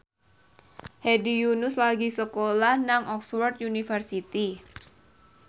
Hedi Yunus lagi sekolah nang Oxford university